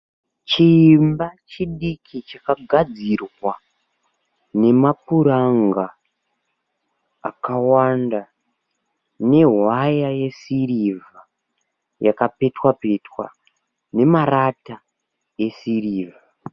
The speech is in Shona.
Chiimba chidiki chakagadzirwa nemapuranga akawanda nehwaya yesirivha yakapetwa petwa nemarata esirivha.